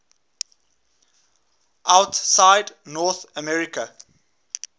outside north america